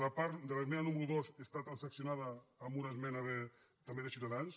l’esmena número dos està transaccionada amb una esmena també de ciutadans